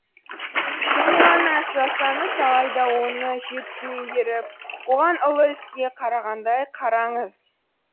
кішкене ғана іс жасаңыз алайда оны жетік меңгеріп оған ұлы іске қарағандай қараңыз